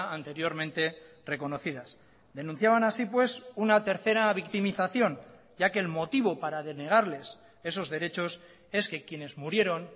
anteriormente reconocidas denunciaban así pues una tercera victimización ya que el motivo para denegarles esos derechos es que quienes murieron